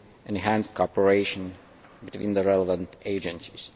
enhanced cooperation between the relevant agencies.